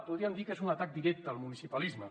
podríem dir que és un atac directe al municipalisme